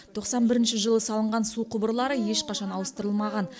тоқсан бірінші жылы салынған су құбырлары ешқашан ауыстырылмаған